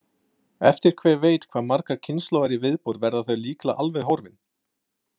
Eftir hver veit hvað margar kynslóðir í viðbót verða þau líklega alveg horfin.